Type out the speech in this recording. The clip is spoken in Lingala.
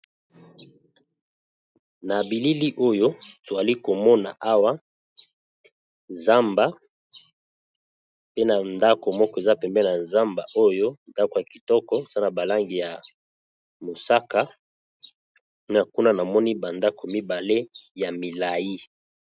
Na bilili oyo tozali komona awa zamba pe na ndako moko eza pembe na zamba oyo ndako ya kitoko za na balangi ya mosaka a kuna na moni bandako mibale ya milai.